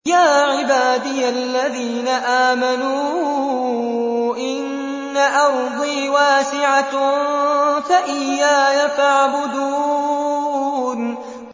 يَا عِبَادِيَ الَّذِينَ آمَنُوا إِنَّ أَرْضِي وَاسِعَةٌ فَإِيَّايَ فَاعْبُدُونِ